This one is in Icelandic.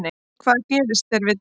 En hvað gerist þegar við deyjum?